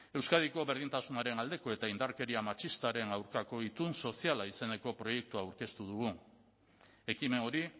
euskadiko berdintasunaren aldeko eta indarkeria matxistaren aurkako itun soziala izeneko proiektua aurkeztu dugu ekimen hori